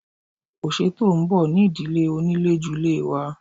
Ọ̀sẹ̀ tó ń bọ̀ ni ìdíje oníléjulé wa.